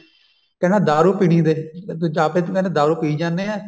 ਕਹਿੰਦਾ ਦਾਰੂ ਪੀਣੀ ਦੇ ਦੂਜਾ ਆਪ ਤਾਂ ਦਾਰੂ ਪੀ ਜਾਂਦੇ ਨੇ ਏ